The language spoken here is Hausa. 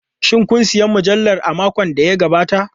Shin kun sayi mujallar a makon da ya gabata?